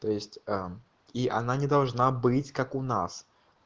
то есть э он и она не должна быть как у нас